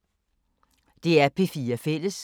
DR P4 Fælles